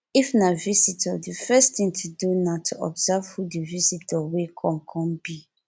if na visitor di first thing to do na to observe who di visitor wey come come be